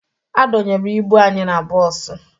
A dọnyere ibu anyị na bọọsụ